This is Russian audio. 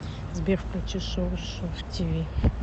сбер включи шоу шув ти ви